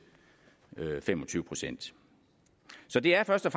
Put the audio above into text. fem og tyve procent så det er først og